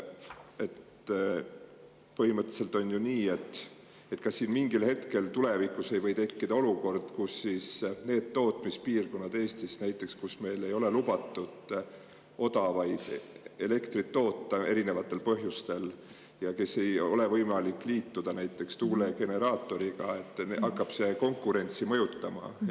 Aga põhimõtteliselt on ju nii, et tulevikus võib mingil hetkel tekkida olukord, kus Eesti teatud tootmispiirkondades ei ole lubatud odavat elektrit toota, erinevatel põhjustel, ning kui ei ole võimalik liituda ka näiteks tuulegeneraatoriga, siis see hakkab konkurentsi mõjutama.